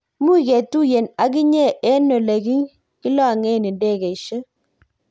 much ketuyien ak inye eng' ole kilong'en ndegesiek